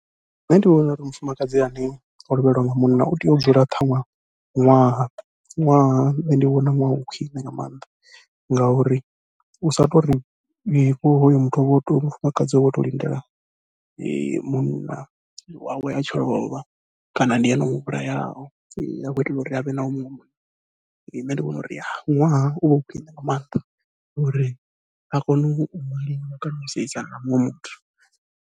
Nṋe ndi vhona uri mufumakadzi ane o lovheliwa nga munna u tea u dzula ṱhaṅwe ṅwaha, ṅwaha nṋe ndi vhona ṅwaha u khwiṋe nga maanḓa. Ngauri u sa tori hoyo muthu uvha o tou mufumakadzi wawe uvha o tou lindela munna wawe a tshi lovha kana ndi ene o muvhulayaho, a khou itela uri a wane muṅwe munna nṋe ndi vhona uri ṅwaha uvha u khwiṋe nga maanḓa, uri a kone u maliwa kana u seisana na muṅwe muthu.